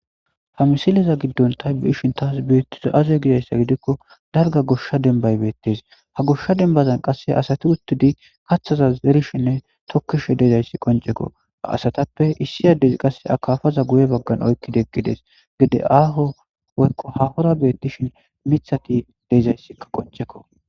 Ha misileza giddon ta be7ishin taas beettizay aze gizayssa gidikko dalgga goshsha dembbay beettes. Ha goshsha dembbazan qasse asati uttidi kathaza zerishenne tokkishe de7izayssi qoncekko. Ha asatappe issi addezi qasse akafaza guye baggan oyqqidegides. Gide aaho woykko hahora beettishin mithati de7izayssi qoncekko.